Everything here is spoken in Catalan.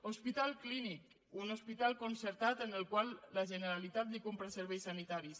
hospital clínic un hospital concertat al qual la generalitat compra serveis sanitaris